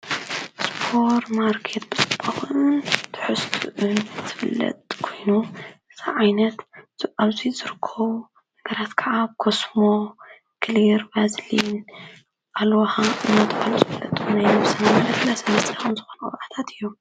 ስፖር ማርከት ብጽባዂን ትሕስትእን ትብለጥ ኮይኑ ሰዓይነት ዝዕብዙ ዘርክዉ ነገራት ከዓብ ኮስሞ ክሊር ባዝልን ኣልዋኻ እምናትባሉ ስብለጥ ኮይኑ ይሙ ሠናምለት ለሰመስቲ ኹም ዝኾኑዉባዕታት እዮም።